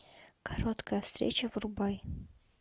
короткая встреча врубай